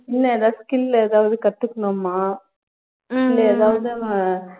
இனிமேல் எதாவது skill எதாவது கத்துகணும்மா இல்ல எதாவது